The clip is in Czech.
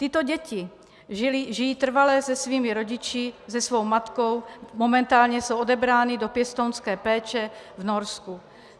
Tyto děti žijí trvale se svými rodiči, se svou matkou, momentálně jsou odebrány do pěstounské péče v Norsku.